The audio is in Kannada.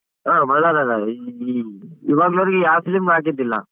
ಹ ಬಳ್ಳಾರದಾಗ ಈ ಇ~ ಇವಾಗನೊರೆಗೆ ಯಾವ film ಗೂ ಹಾಕಿದ್ದಿಲ್ಲ.